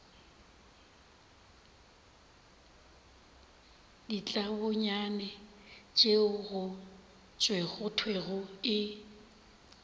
ditlabonyane tšeo go thwego e